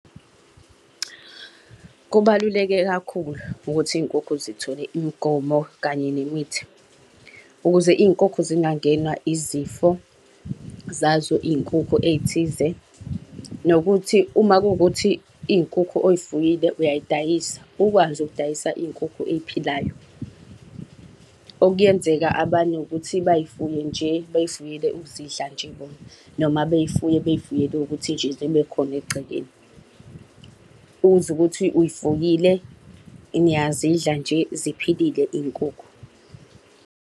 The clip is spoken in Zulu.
Kubaluleke kakhulu ukuthi iy'nkukhu zithole imigomo kanye nemithi. Ukuze iy'nkukhu zingangenwa izifo zazo iy'nkukhu ey'thize. Nokuthi uma kuwukuthi iy'nkukhu oy'fuyile uyay'dayisa, ukwazi ukudayisa iy'nkukhu ey'philayo. Okuyenzeka abanye ukuthi bay'fuye nje bey'fuyele ukuzidla nje bona, noma bey'fuye, bey'fuyele ukuthi nje zibekhona egcekeni. Uzwe ukuthi uy'fuyile, niyazidla nje ziphilile iy'nkukhu.